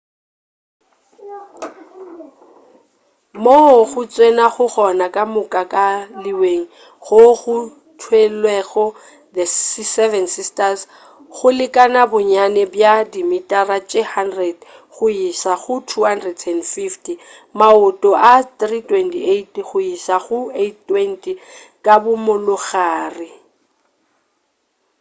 moo go tsenwago gona ka moka ka leweng goo go theelwego the seven sisters go lekana bonnyane bja dimitara tše 100 go iša go 250 maoto a 328 go iša go 820 ka bo molagare